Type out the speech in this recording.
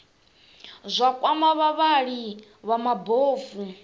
zwa kwama vhavhali vha mabofu